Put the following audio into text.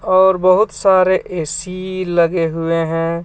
और बोहोत सारे ऐ_सी लगे हुए है.